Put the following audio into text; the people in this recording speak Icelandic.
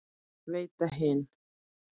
Veita hinn